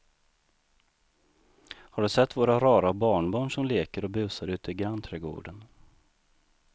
Har du sett våra rara barnbarn som leker och busar ute i grannträdgården!